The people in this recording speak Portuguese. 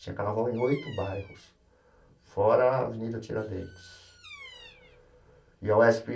Tinha carnaval em oito bairros, fora a Avenida Tiradentes e a UESP.